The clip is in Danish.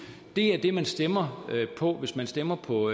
det er det man stemmer på hvis man stemmer på